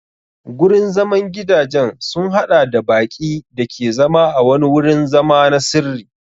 Gurin zaman gidajen sun haɗa da baƙi da ke zama a wani wurin zama na sirri.